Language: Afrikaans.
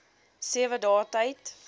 sewe dae tyd